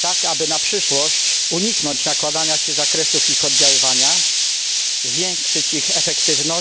tak aby na przyszłość uniknąć nakładania się zakresów ich oddziaływania, zwiększyć ich efektywność,